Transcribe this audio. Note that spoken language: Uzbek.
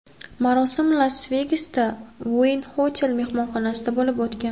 Marosim Las-Vegasda, Wynn Hotel mehmonxonasida bo‘lib o‘tgan.